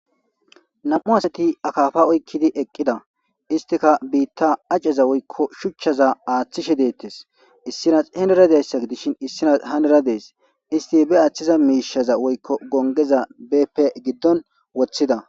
nam7u asati akafa oykkidi eqqida istika biitta aceza woykko shuchchaza aaththishe deettes issinas henera deessa gidishin issinas heneradees isti be aaththiza miishaza woykko gongeza bepe giddon woththida